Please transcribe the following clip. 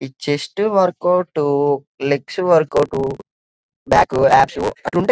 ఈ chest workout legs workout back అంటుంటాయ్.